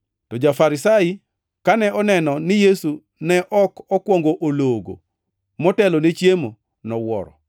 To ja-Farisai kane oneno ni Yesu ne ok okwongo ologo motelone chiemo, nowuoro.